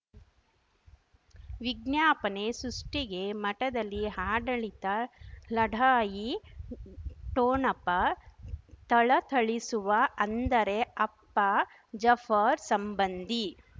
ವಿಜ್ಞಾಪನೆ ಸೃಷ್ಟಿಗೆ ಮಠದಲ್ಲಿ ಹಾಡಳಿತ ಲಢಾಯಿ ಠೊಣಪ ಥಳಥಳಿಸುವ ಅಂದರೆ ಅಪ್ಪ ಜಫರ್ ಸಂಬಂಧಿ